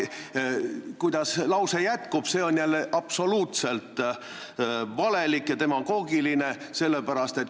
Aga kuidas see lause jätkub, see on jälle absoluutne demagoogia.